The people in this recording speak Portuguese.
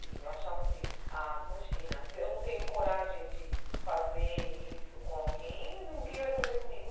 E eu achava assim, a imagina, se eu não tenho coragem de fazer isso com alguém, ninguém vai fazer comigo.